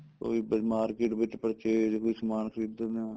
ਕੋਈ market ਵਿੱਚ purchase ਕੋਈ ਸਮਾਨ ਖਰੀਦਣਾ